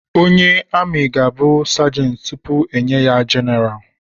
Onye ami ga-abụ sergent tupu enye ya general